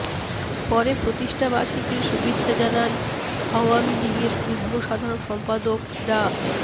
পরে প্রতিষ্ঠাবার্ষিকীর শুভেচ্ছা জানান আওয়ামী লীগের যুগ্ম সাধারন সম্পাদক ডা